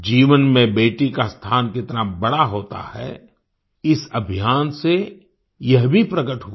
जीवन में बेटी का स्थान कितना बड़ा होता है इस अभियान से यह भी प्रकट हुआ